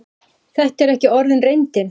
Þetta er ekki orðin reyndin.